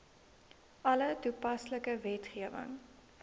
alle toepaslike wetgewing